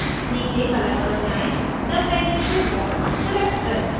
नीचे color पर जाएँ submenu से bonds select करें